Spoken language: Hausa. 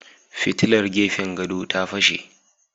Fitilar gefen gado ta fashe.